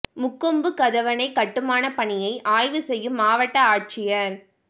முக்கொம்பு கதவணை கட்டுமானப் பணியை ஆய்வு செய்யும் மாவட்ட ஆட்சியா் சு